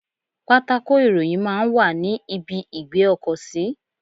Pátákò ìròyìn máa ń wà ní ibi ìgbé ọkọ̀ sí.